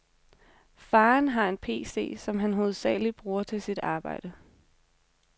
Faderen har en pc, som han hovedsagelig bruger til sit arbejde.